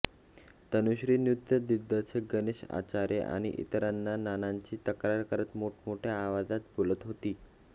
तनुश्री नृत्यदिग्दर्शक गणेश आचार्य आणि इतरांना नानांची तक्रार करत मोठमोठ्या आवाजात बोलत होती